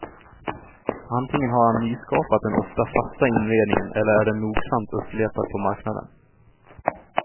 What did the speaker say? Antingen har han nyskapat den ofta fasta inredningen eller är den nogsamt uppletad på marknaden.